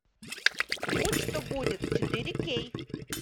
будь что будет четыре кей